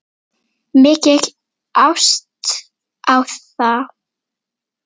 Mikil ást á þá.